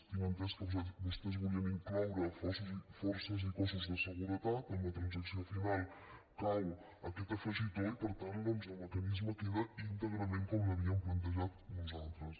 tinc entès que vostès volien incloure forces i cossos de seguretat en la transacció final cau aquest afegitó i per tant doncs el mecanisme queda íntegrament com l’havíem plantejat nosaltres